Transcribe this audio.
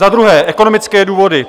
Za druhé, ekonomické důvody.